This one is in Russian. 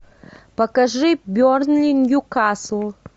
покажи бернли ньюкасл